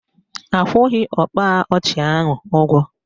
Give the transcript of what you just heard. Akwụghị ọkpa ọchị ahụ ụgwọ